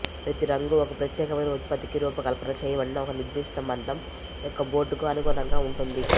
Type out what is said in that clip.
ప్రతి రంగు ఒక ప్రత్యేకమైన ఉత్పత్తికి రూపకల్పన చేయబడిన ఒక నిర్దిష్ట మందం యొక్క బోర్డుకి అనుగుణంగా ఉంటుంది